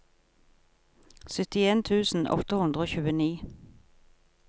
syttien tusen åtte hundre og tjueni